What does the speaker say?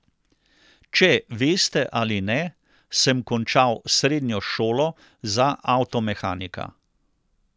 Če veste ali ne, sem končal srednjo šolo za avtomehanika.